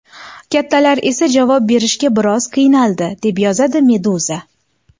Kattalar esa javob berishga biroz qiynaladi, deb yozadi Meduza.